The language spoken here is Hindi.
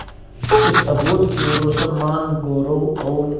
इस अभूतपूर्व सम्मानगौरव और